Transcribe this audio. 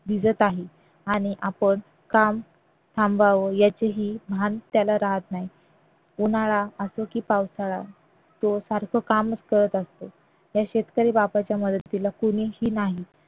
भिजत आहे आणि आपण काम थांबवावे याचेही भान त्याला राहत नाही उन्हाळा असो की पावसाळा तो सारखं कामच करत असतो ह्या शेतकरी राजाच्या मदतीला कोणीही नाही